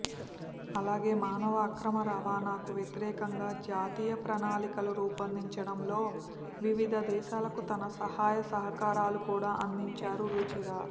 అలాగే మానవ అక్రమ రవాణాకు వ్యతిరేకంగా జాతీయ ప్రణాళికలు రూపొందించడంలో వివిధ దేశాలకు తన సహాయసహకారాలు కూడా అందించారు రుచిర